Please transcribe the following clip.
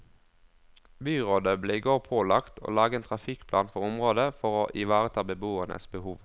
Byrådet ble i går pålagt å lage en trafikkplan for området for å ivareta beboernes behov.